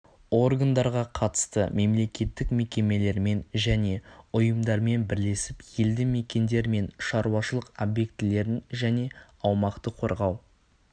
органдарға қатысты мемлекеттік мекемелермен және ұйымдармен бірлесіп елді мекендер мен шаруашылық объектілерін және аумақты қорғау